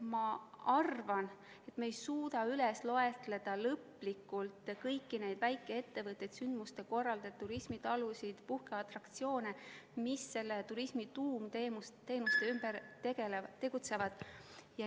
Ma arvan, et me ei suuda lõplikult loetleda kõiki neid väikeettevõtteid, ürituste korraldajaid, turismitalusid, puhkeatraktsioone, mis turismi tuumteenuste ümber tegutsevad.